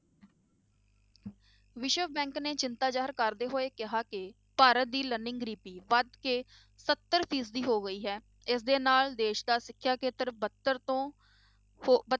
ਵਿਸ਼ਵ bank ਨੇ ਚਿੰਤਾ ਜਾਹਰ ਕਰਦੇ ਹੋਏ ਕਿਹਾ ਕਿ ਭਾਰਤ ਦੀ learning ਗਰੀਬੀ ਵੱਧ ਕੇ ਸੱਤਰ ਫੀਸਦੀ ਹੋ ਗਈ ਹੈ ਇਸਦੇ ਨਾਲ ਦੇਸ ਦਾ ਸਿੱਖਿਆ ਖੇਤਰ ਬੱਤਰ ਤੋਂ ਹੋ,